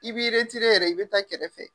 I b'i yɛrɛ i bɛ taa kɛrɛfɛ.